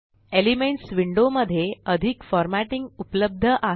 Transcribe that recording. elements window मध्ये अधिक formatting उपलब्ध आहे